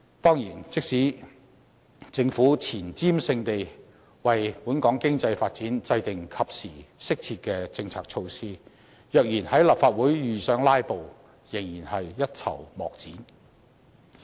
當然，即使政府前瞻性地為本港經濟發展制訂及時、適切的政策措施，若然在立法會遇上"拉布"，仍然是一籌莫展的。